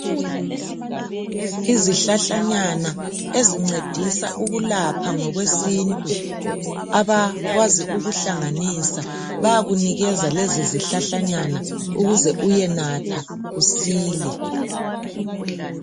Izihlahlanyana ezincedisa ukulapha ngokwesintu , abakwazi ukuhlanganisa bayakunikeza lezi zihlahlanyana ukuze uyenatha usile